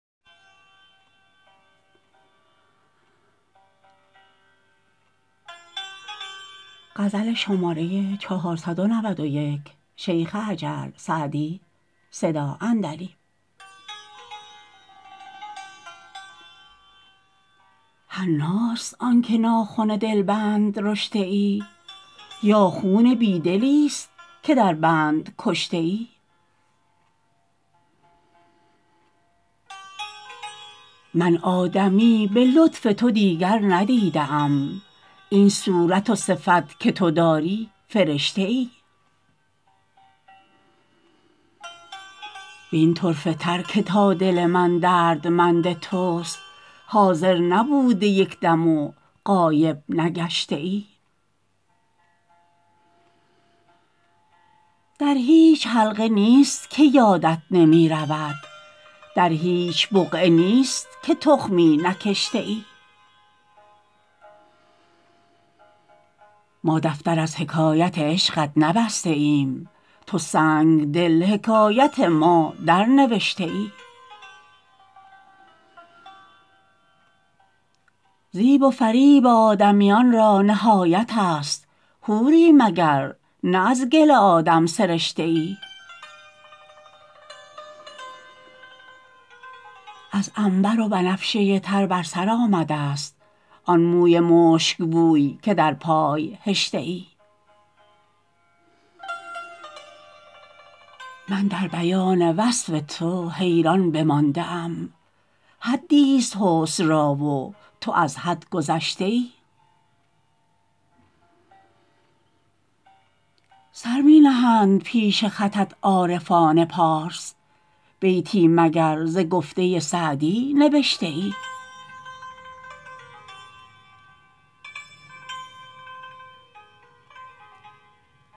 حناست آن که ناخن دلبند رشته ای یا خون بی دلیست که در بند کشته ای من آدمی به لطف تو دیگر ندیده ام این صورت و صفت که تو داری فرشته ای وین طرفه تر که تا دل من دردمند توست حاضر نبوده یک دم و غایب نگشته ای در هیچ حلقه نیست که یادت نمی رود در هیچ بقعه نیست که تخمی نکشته ای ما دفتر از حکایت عشقت نبسته ایم تو سنگدل حکایت ما درنوشته ای زیب و فریب آدمیان را نهایت است حوری مگر نه از گل آدم سرشته ای از عنبر و بنفشه تر بر سر آمده ست آن موی مشکبوی که در پای هشته ای من در بیان وصف تو حیران بمانده ام حدیست حسن را و تو از حد گذشته ای سر می نهند پیش خطت عارفان پارس بیتی مگر ز گفته سعدی نبشته ای